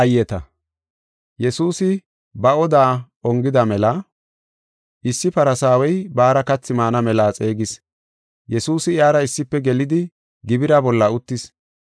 Yesuusi ba oda ongida mela issi Farsaawey baara kathi maana mela xeegis. Yesuusi, iyara issife gelidi gibira bolla uttis.